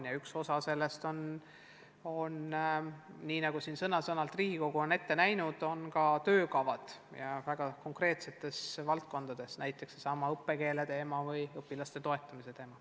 Ja üks osa sellest tööst on, nii nagu Riigikogu on ette näinud, koostada töökavad väga konkreetsetes valdkondades, näiteks võib tuua sellesama õppekeele teema või õpilaste toetamise teema.